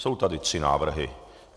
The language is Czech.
Jsou tady tři návrhy.